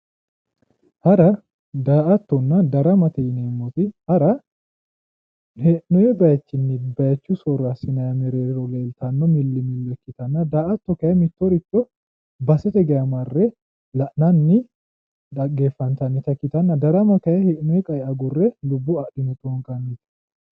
Hara, daa"attonna darama ,hara hee'nonni basenni ,daa"atto basete geeshsha marre la'nanni egenammanni, daramate yaa kayinni base agurate yaate.